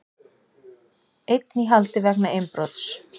Einn í haldi vegna innbrots